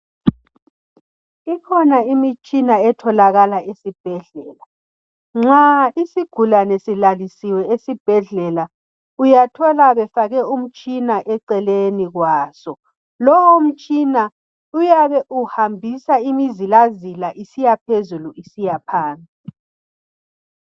Ikhona Imitshina etholakala ezibhedlela ,nxa isigulani silalisiwe esibhedlela uyathola befake umtshina eceleni kwaso , lo mutshina uyabe uhambisa imizilazila isiyaphezulu isiyaphansi.